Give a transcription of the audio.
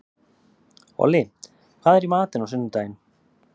Olli, hvað er í matinn á sunnudaginn?